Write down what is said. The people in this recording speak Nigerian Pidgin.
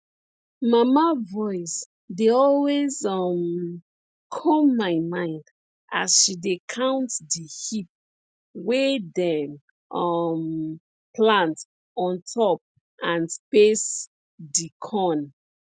mama voice dey always um come my mind as she dey count di heap wey dem um plant on top and space di corn